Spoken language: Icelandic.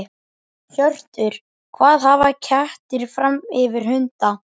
Hjörtur: Hvað hafa kettir fram yfir hunda?